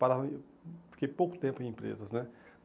Fiquei pouco tempo em empresas né.